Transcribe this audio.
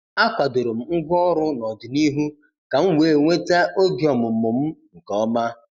A kwadoro m ngwaọrụ n'ọdịnihu ka m wee nweta oge ọmụmụ m nke ọma.